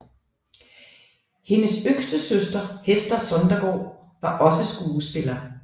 Hendes yngre søster Hester Sondergaard var også skuespiller